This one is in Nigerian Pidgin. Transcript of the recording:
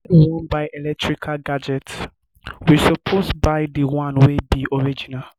when we wan buy electrical gadgets we suppose buy di one wey be original